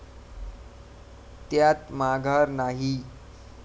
त्यात माघार नाही.